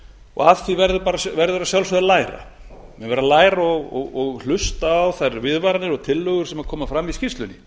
og af því verður að sjálfsögðu að læra menn verða að læra og hlusta á þær viðvaranir og tillögur sem koma fram í skýrslunni